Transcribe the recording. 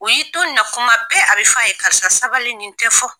U y'i to na kuma bɛɛ a bɛ fɔ a ye karisa sabali nin tɛ fɔ.